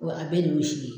Wa a bɛɛ de ye si ye